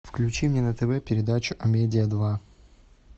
включи мне на тв передачу амедиа два